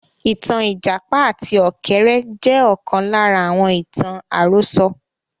Ìtàn Ìjàpá àti Ọ̀kẹ́rẹ́ jẹ́ ọ̀kan lára àwọn ìtàn àròsọ